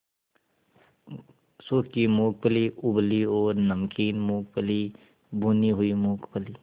सूखी मूँगफली उबली और नमकीन मूँगफली भुनी हुई मूँगफली